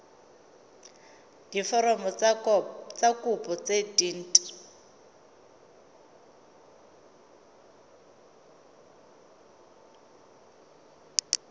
diforomo tsa kopo tse dint